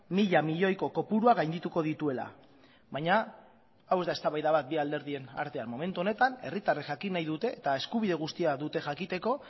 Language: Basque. mila milioiko kopurua gaindituko dituela baina hau ez da eztabaida bat bi alderdien artean momentu honetan herritarrek jakin nahi dute eta eskubide guztia dute jakiteko